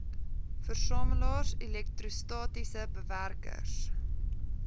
versamelaars elektrostatiese bewerkers